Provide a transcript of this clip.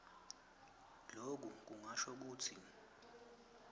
loku kungasho kutsi